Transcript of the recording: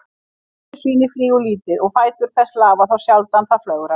Keldusvínið flýgur lítið og fætur þess lafa þá sjaldan það flögrar.